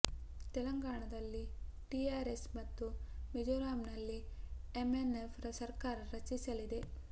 ತೆಲಂಗಾಣದಲ್ಲಿ TRS ಮತ್ತು ಮಿಜೋರಾಂ ನಲ್ಲಿ ಎಂಎನ್ ಎಫ್ ಸರ್ಕಾರ ರಚಿಸಲಿದೆ